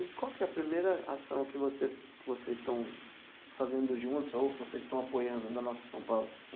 E qual que é a primeira ação que você que vocês estão fazendo juntos ou que vocês estão apoiando da Nossa São Paulo?